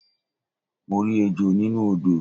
Mo rí ejò nínú odò